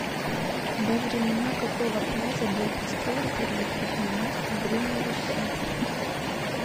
во времена какого князя был построен первый крупный мост в древней руси